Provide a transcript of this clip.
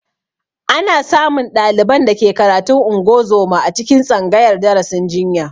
Ana samun ɗaliban da ke karatun ungozoma a cikin tsangayar darasin jinya